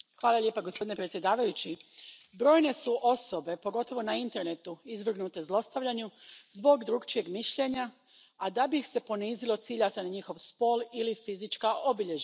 Gospodine predsjedavajući, brojne su osobe, pogotovo na internetu, izvrgnute zlostavljanju zbog drukčijeg mišljenja, a da bi ih se ponizilo cilja se na njihov spol ili fizička obilježja.